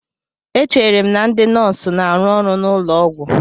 Echere m na ndị nọọsụ na-arụ ọrụ n'ụlọ ọgwụ